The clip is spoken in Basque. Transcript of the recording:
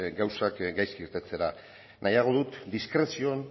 gauzak gaizki irtetera nahiago dut diskrezioan